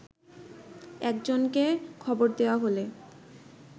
একজনকে খবর দেয়া হলে